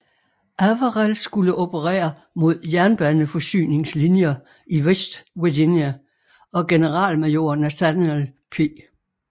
Averell skulle operere mod jernbaneforsyningslinjer i West Virginia og generalmajor Nathaniel P